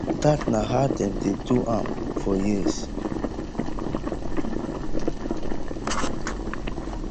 dat na how dem dey do am for years